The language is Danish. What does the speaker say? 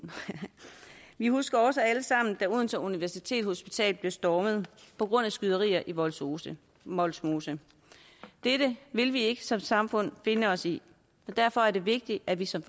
vi husker også alle sammen da odense universitetshospital blev stormet på grund af skyderier i vollsmose vollsmose dette vil vi ikke som samfund finde os i og derfor er det vigtigt at vi som